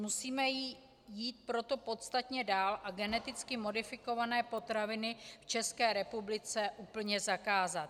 Musíme jít proto podstatně dál a geneticky modifikované potraviny v České republice úplně zakázat.